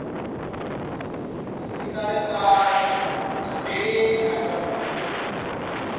si kalekale nthambeleni a takuwe